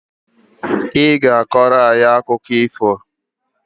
I ga-akọrọ akụkọ ifo?